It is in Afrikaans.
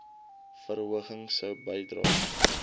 verhoging sou bydra